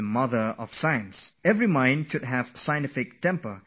Each person should have a scientific thinking, should be attracted to science